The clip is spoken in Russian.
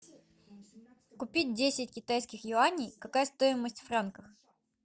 купить десять китайских юаней какая стоимость в франках